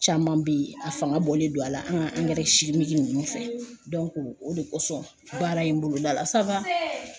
Caman be yen a fanga bɔlen don a la an ga angɛrɛ simiki nunnu fɛ dɔnko o de kosɔn baara in boloda la sawa n see